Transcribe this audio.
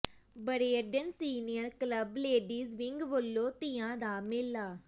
ਬਰੇਅਡਨ senior club ladies wing ਵੱਲੋਂ ਤੀਆਂ ਦਾ ਮੇਲਾ